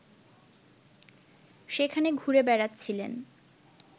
সেখানে ঘুরে বেড়াচ্ছিলেন